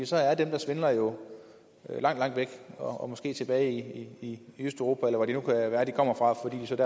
så er dem der svindler jo langt langt væk og måske tilbage i østeuropa eller hvor det nu kan være de kommer fra